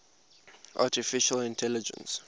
artificial intelligence